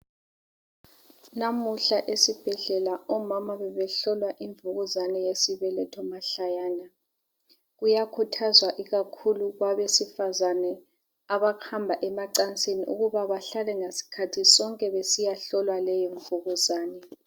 Namuhla esibhedlela omama bebehlolwa imvukuzane yesibeletho mahlayana kuyakhuthazwa ikakhulu kwabesifazane abahamba emacansini ukuba bahlale ngasikhathi sonke besiyahlolwa leyo mvukuzane.